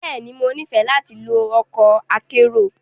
Bẹ́ẹ̀ni, Mo nifẹ lati lo ọkọ akero.